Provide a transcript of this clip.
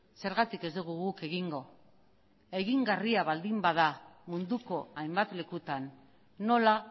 zergatik ez dugu guk egingo egingarria baldin bada munduko hainbat lekutan nola